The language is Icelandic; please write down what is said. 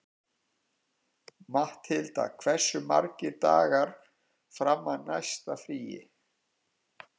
Matthilda, hversu margir dagar fram að næsta fríi?